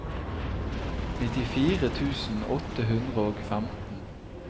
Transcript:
nittifire tusen åtte hundre og femten